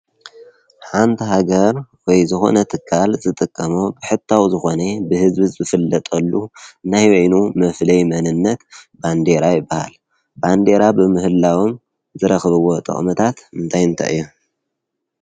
ሓንቲ ሃገር ወይ ዝኮነ ትካል ዝጥቀሞ ብሕታዊ ዝኮነ ብህዝቢ ዝፍለጠሉ ናይ በይኑ መፉለይ መንነት ባንዴራ ይበሃል ።ባንዴራ ብምህላዎም ዝረክብዎ ጥቅምታት እንታይ እንታይ እዮም?